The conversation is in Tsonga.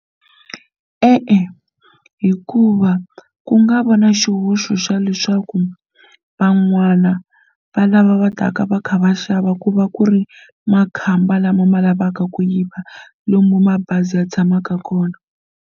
E-e hikuva ku nga va na xihoxo xa leswaku van'wana va lava va taka va kha va xava ku va ku ri makhamba lama ma lavaka ku yiva lomu mabazi ya tshamaka kona.